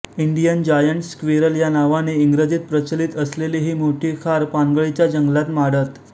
Indian giant squirrel या नावाने इंग्रजीत प्रचलित असलेली ही मोठी खार पानगळीच्या जंगलात माडत